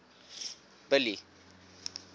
billy